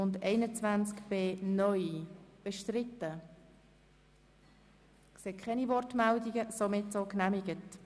Wir haben zwei Anträge von Grossrätin Machado vorliegend.